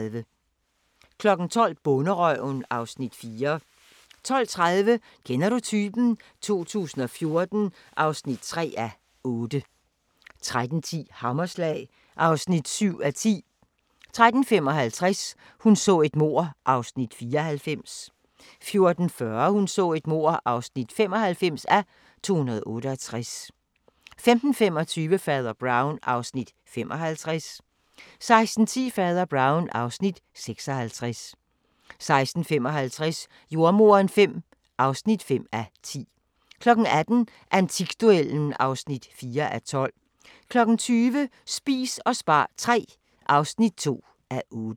12:00: Bonderøven (Afs. 4) 12:30: Kender du typen? 2014 (3:8) 13:10: Hammerslag (7:10) 13:55: Hun så et mord (94:268) 14:40: Hun så et mord (95:268) 15:25: Fader Brown (Afs. 55) 16:10: Fader Brown (Afs. 56) 16:55: Jordemoderen V (5:10) 18:00: Antikduellen (4:12) 20:00: Spis og spar III (2:8)